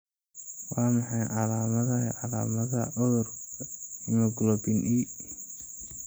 Waa maxay calaamadaha iyo calaamadaha cudurka hemoglobin E?